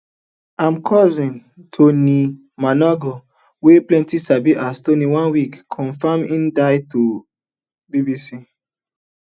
am cousin tony muonagor wey pipo sabi as tony oneweek confam hin death to bbc